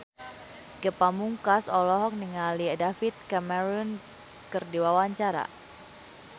Ge Pamungkas olohok ningali David Cameron keur diwawancara